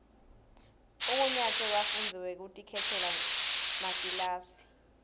umgunyatsi webafundzi wekutikhetsela makilasi